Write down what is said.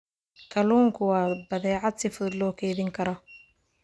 Kalluunku waa badeecad si fudud loo kaydin karo.